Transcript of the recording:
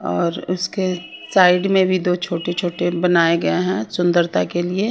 और उसके साइड में भी दो छोटे छोटे बनाए गए हैं सुंदरता के लिए--